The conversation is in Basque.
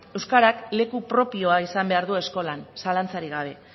euskarak leku propioa izan behar du eskolan zalantzarik gabe